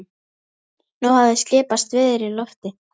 Nú hafði skipast veður í lofti.